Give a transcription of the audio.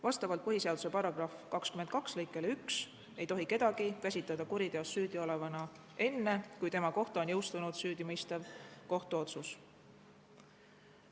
Vastavalt põhiseaduse § 22 lõikele 1 ei tohi kedagi käsitada kuriteos süüdiolevana enne, kui tema kohta on jõustunud süüdimõistev kohtuotsus.